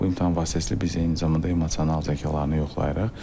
Bu imtahan vasitəsilə biz eyni zamanda emosional zəkalarını yoxlayırıq.